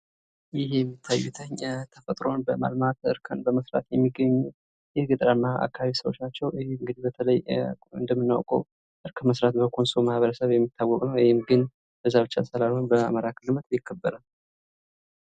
ይህ የሚታዩት ተፈጥሮን በማልማት እርከን በመስራት የሚገኙ የገጠራማ አካባቢ ሰዎች ናቸዉ። ይህ እንግዲህ በተለይ እንደምናውቀው እርከን መስራት በኮንሶ ማህበረሰብ የሚታወቅ ነው። ይህ ግን በዛ ብቻ ሳይሆን በአማራ ክልልም ይከበራል።